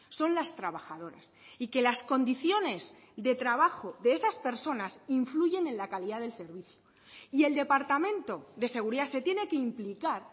son las trabajadoras y que las condiciones de trabajo de esas personas influyen en la calidad del servicio y el departamento de seguridad se tiene que implicar